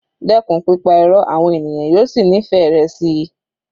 Dẹ́kun pípa Irọ́ àwọn ènìyàn yóò sì nífẹ̀ẹ́ rẹ síi.